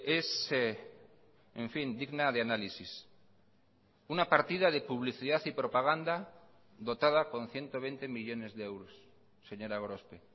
es en fin digna de análisis una partida de publicidad y propaganda dotada con ciento veinte millónes de euros señora gorospe